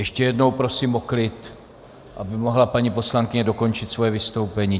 Ještě jednou prosím o klid, aby mohla paní poslankyně dokončit svoje vystoupení.